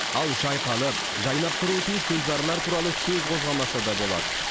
ал жайқалып жайнап тұруы тиіс гүлзарлар туралы сөз қозғамаса да болады